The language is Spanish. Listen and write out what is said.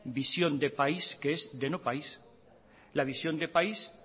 visión de país que es de no país la visión de país